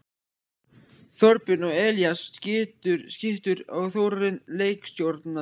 Þorbjörn og Elías skyttur og Þórarinn leikstjórnandi!